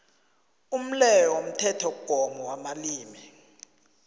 umleyo womthethomgomo wamalimi